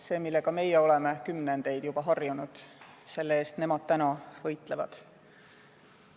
See, millega meie oleme kümnendite jooksul juba harjunud, selle eest nemad täna võitlevad.